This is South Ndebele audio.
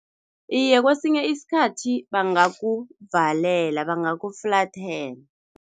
Iye, kwesinye isikhathi bangakuvalela, bangakufulathela.